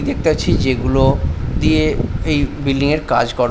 দেখতাছি যেগুলো দিয়ে এই বিল্ডিং -এর কাজ কর--